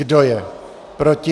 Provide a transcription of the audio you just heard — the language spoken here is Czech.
Kdo je proti?